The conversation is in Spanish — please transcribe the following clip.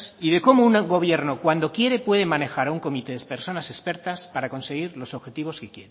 y de cómo un gobierno cuando quiere puede manejar a un comité de personas expertas para conseguir los objetivos que quiere